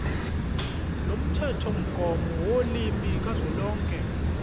lomthethomgomo wolimi kazwelonke